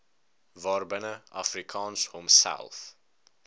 waarbinne afrikaans homself